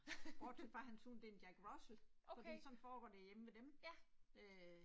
Bortset fra hans hund det er en Jack Russel, fordi sådan foregår det hjemme ved dem øh